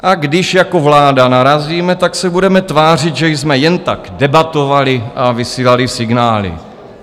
A když jako vláda narazíme, tak se budeme tvářit, že jsme jen tak debatovali a vysílali signály.